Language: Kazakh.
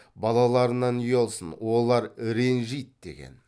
балаларынан ұялсын олар ренжиді деген